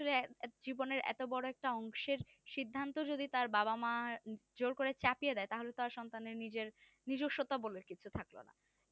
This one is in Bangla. আসলে জীবনের এতো বড় একটা অংশের সির্ধান্ত যদি তার বাবা মা জোর করে চাপিয়ে দেয় তাহলে তার সন্তানের নিজের নিজসত্তা বলে কিছু থাকলো না